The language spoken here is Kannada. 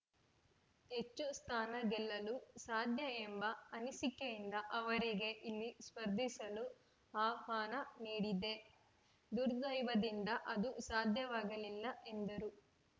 ಹೆಚ್ಚು ಸ್ಥಾನ ಗೆಲ್ಲಲು ಸಾಧ್ಯ ಎಂಬ ಅನಿಸಿಕೆಯಿಂದ ಅವರಿಗೆ ಇಲ್ಲಿ ಸ್ಪರ್ಧಿಸಲು ಆಹ್ವಾನ ನೀಡಿದ್ದೆ ದುರ್ದೈವದಿಂದ ಅದು ಸಾಧ್ಯವಾಗಲಿಲ್ಲ ಎಂದರು